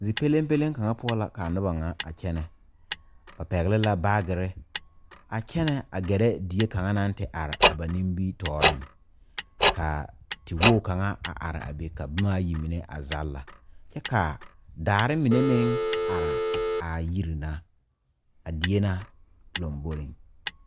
Zie pɛle pɛle kaŋa poɔ la kaa noba kaŋa a kyɛne ba pegle la baagyere a kyɛne a gare die kaŋa naŋ te are a ba nimitɔɔre ka tewogi kaŋa a are a be ka boma ayi a zagla kyɛ ka daare mine meŋ are a yiri na a die na lanbore.